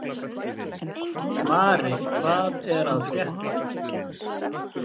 Mari, hvað er að frétta?